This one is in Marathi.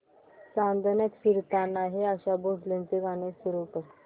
चांदण्यात फिरताना हे आशा भोसलेंचे गाणे सुरू कर